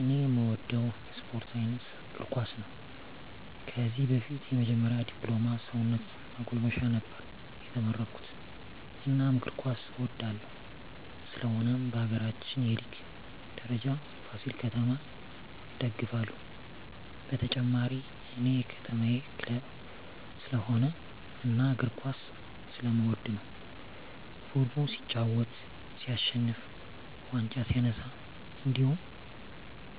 እኔ እምወደው የስፓርት አይነት እግርኳስ ነው ከዚህ በፊት የመጀመሪ ድፕሎማ ሰውነት ማጎልመሻ ነበር የተመረኩት እናም እግር ኳስ እወዳለሁ ስለሆነም በሀገራችን የሊግ ደረጃ ፍሲል ከተማ እደግፍለ ሁ በተጨማሪ እኔ የከተማየ ክለብ ስለሆነ እና እግር ኳስ ስለምወድ ነው ቡድኑ ሲጫወት ሲሸንፍ ዋንጫ ሲነሳ እንድሁም